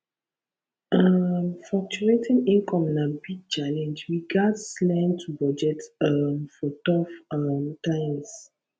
um fluctuating income na big challenge we gats learn to budget um for tough um times